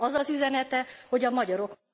Az az üzenete, hogy a magyarok